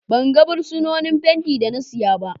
ban ga buroshin fenti da na saya ba